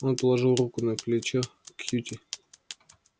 он положил руку на плечо кьюти